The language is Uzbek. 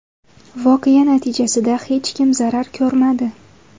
Voqea natijasida hech kim zarar ko‘rmadi.